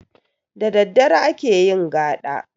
Da daddare ake yin gaɗa